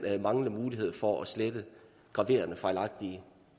manglende mulighed for at slette graverende fejlagtige